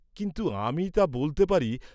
কিন্তু আমি তা বলতে পারি।